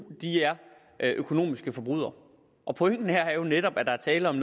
er økonomiske forbrydere pointen her er jo netop at der er tale om